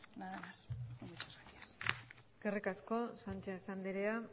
nada más y muchas gracias eskerrik asko sánchez andrea